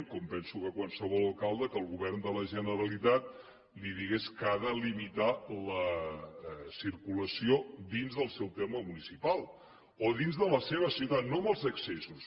com penso que a qualsevol alcalde que el govern de la generalitat li digués que ha de limitar la circulació dins del seu terme municipal o dins de la seva ciutat no en els accessos